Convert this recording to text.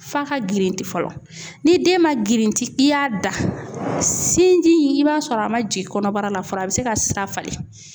F'a ka girinti fɔlɔ ni den man girinti i y'a da sinji i b'a sɔrɔ a man jigin kɔnɔbara la fɔlɔ a bɛ se ka sira falen.